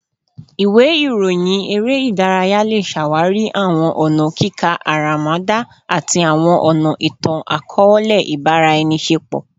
Iwe iroyin ere idaraya le ṣawari awọn ọna kika aramada ati awọn ọna itan-akọọlẹ ibaraenisepo